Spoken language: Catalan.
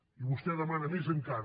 i vostè demana més encara